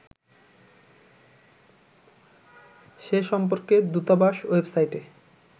সে সম্পর্কে দূতাবাস ওয়েবসাইটে